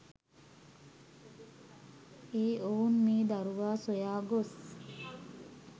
ඒ ඔවුන් මේ දරුවා සොයා ගොස්